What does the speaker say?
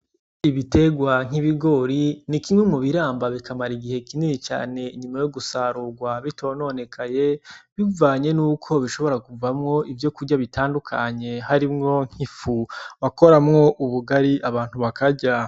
Igiterwa nk'ibigori, ni kimwe mu biramba bikamara igihe kinini cane imbere yo gusarurwa bitononekaye, bivanye n'uko bishobora kuvamwo ivyokurya bitandukanye. Harimwo nk'ifu bakoramwo ubugari, abantu bakarya.